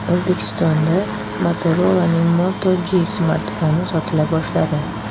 O‘zbekistonda Motorola’ning Moto G smartfoni sotila boshladi.